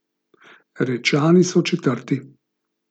Rečani so četrti.